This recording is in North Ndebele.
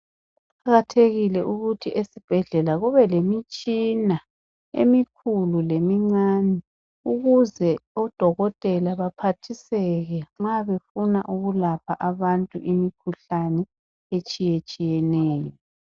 Kuqakathekile ukuthi esibhedlela kube lemitshina emikhulu lemincane ukuze odokotela baphathiseke nxa befuna ukulapa abantu imikhuhlane etshiyetshiyeneyo